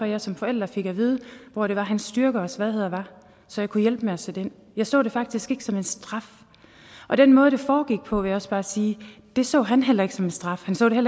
jeg som forælder fik at vide hvor det var hans styrker og svagheder var så jeg kunne hjælpe med at sætte ind jeg så det faktisk ikke som en straf og den måde det foregik på vil jeg også bare sige så han heller ikke som en straf han så det